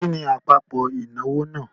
Kí ni àpapọ̀ ìnáwó náà?